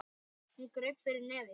Hún greip fyrir nefið.